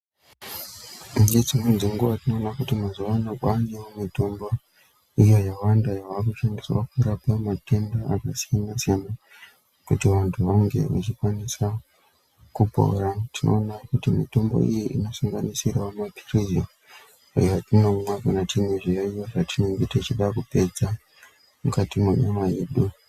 Kune dzimweni dzenguva ,tinowona kuti mazuva anaya kwaane imwe mitombo iyo yawanda yaaku shandiswa kurapa matenda akasiyana siyana kuti vantu vange vechikwanisa kupora. Tinowona kuti mitombo iyi ino sanganisira mapirisi aya atinomwa kana tine zviyayiyo zvatinenge tichida kupedza mukati menyama yedu.